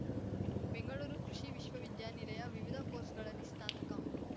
ಬೆಂಗಳೂರು ಕೃಷಿ ವಿಶ್ವವಿದ್ಯಾನಿಲಯ ವಿವಿಧ ಕೋರ್ಸ್‌ಗಳಲ್ಲಿ ಸ್ನಾತಕ